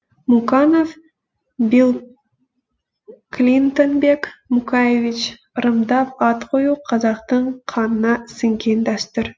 муканов биллклинтонбек мукаевич ырымдап ат қою қазақтың қанына сіңген дәстүр